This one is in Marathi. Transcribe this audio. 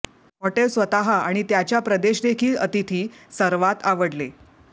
हॉटेल स्वतः आणि त्याच्या प्रदेश देखील अतिथी सर्वात आवडले